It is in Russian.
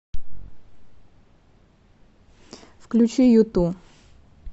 включи юту